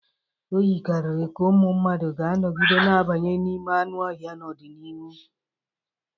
O yikarịrị ka ụmụ mmadụ ga-anọgide na-abanye n'ime anụ ọhịa n'ọdịnihu.